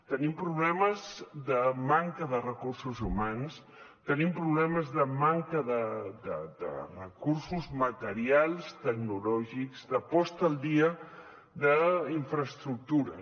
tenim problemes de manca de recursos humans tenim problemes de manca de recursos materials tecnològics de posada al dia d’infraestructures